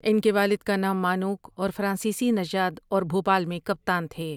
ان کے والد کا نام مانوک اور فرانسسی نژاد اور بھوپال میں کپتان تھے ۔